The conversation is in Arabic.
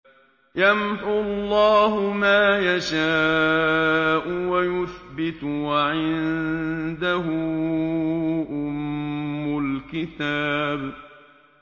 يَمْحُو اللَّهُ مَا يَشَاءُ وَيُثْبِتُ ۖ وَعِندَهُ أُمُّ الْكِتَابِ